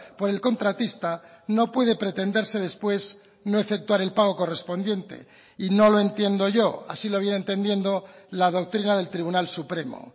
por el contratista no puede pretenderse después no efectuar el pago correspondiente y no lo entiendo yo así lo viene entendiendo la doctrina del tribunal supremo